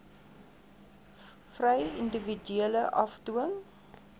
vry individue afdwing